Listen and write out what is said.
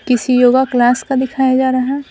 किसी yoga class का दिखाया जा रहा है।